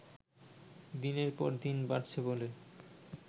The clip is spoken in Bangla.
দিনের পর দিন বাড়ছে বলে